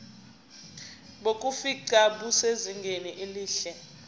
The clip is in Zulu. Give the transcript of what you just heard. bokufingqa busezingeni elihle